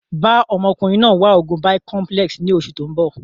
Bàa ọmọkùnrin náà wá oògùn Bicomplex ni oṣù tóun bọ̀